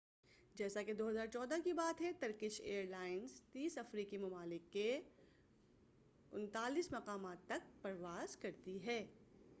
جیسا کہ 2014 کی بات ہے ترکش ایر لائنس 30 افریقی ممالک کے 39 مقامات تک پرواز کرتی ہے